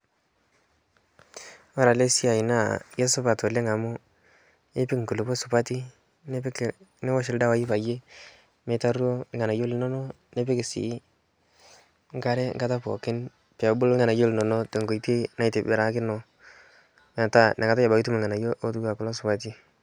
kore ale siai naa keisupat oleng' amu ipik nkulipoo supatii niwosh ldawai paiyee meitaruo lghanayo linono nipik sii nkare nkata pookin peebulu lghanayo linono te nkoitei naitibirakinoo metaa inaikatai abakii itum lghanayo lotuwaa kulo supati